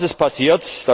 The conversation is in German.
Was ist passiert?